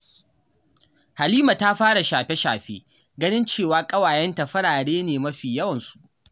Halima ta fara shafe-shafe ganin cewa ƙawayenta farare ne mafi yawansu.